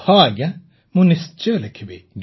ହଁ ଆଜ୍ଞା ମୁଁ ନିଶ୍ଚୟ ଲେଖିବି